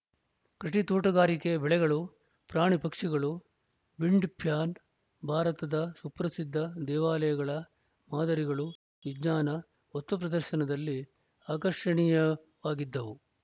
ಕೃಷಿ ತೋಟಗಾರಿಕೆ ಬೆಳೆಗಳು ಪ್ರಾಣಿ ಪಕ್ಷಿಗಳು ವಿಂಡ್‌ ಫ್ಯಾನ್‌ ಭಾರತದ ಸುಪ್ರಸಿದ್ದ ದೇವಾಲಯಗಳ ಮಾದರಿಗಳು ವಿಜ್ಞಾನ ವಸ್ತುಪ್ರದರ್ಶನದಲ್ಲಿ ಆಕರ್ಷಣೀಯವಾಗಿದ್ದವು